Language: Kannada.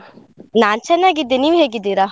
ನಾನ್ ಚೆನ್ನಾಗಿದ್ದೆ. ನೀವ್ ಹೇಗಿದ್ದೀರಾ?